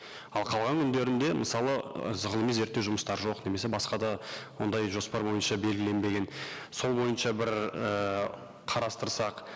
ал қалған күндерінде мысалы ы ғылыми зерттеу жұмыстар жоқ немесе басқа да ондай жоспар бойынша белгіленбеген сол бойынша бір ііі қарастырсақ